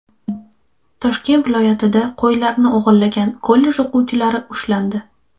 Toshkent viloyatida qo‘ylarni o‘g‘irlagan kollej o‘quvchilari ushlandi.